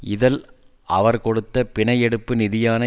இதழ் அவர் கொடுத்த பிணை எடுப்பு நிதியான